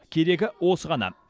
керегі осы ғана